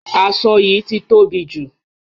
Aṣọ yìí ti tóbi jù.